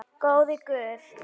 Góði Guð.